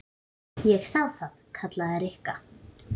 Ég sá það. kallaði Rikka.